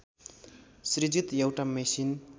सृजित एउटा मेसिन